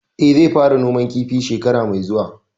Eh, zai fara noman kifi shekara mai zuwa